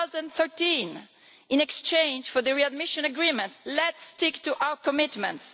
2013. In exchange for the readmission agreement let us stick to our commitments.